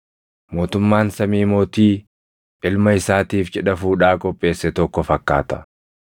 “Mootummaan samii mootii ilma isaatiif cidha fuudhaa qopheesse tokko fakkaata.